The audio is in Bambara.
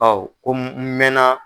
Ɔ ko n mɛn na.